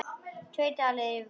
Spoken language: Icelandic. Tveir dalir yfirbót tveir dalir.